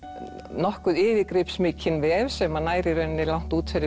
nokkuð yfirgripsmikinn vef sem nær í rauninni langt út fyrir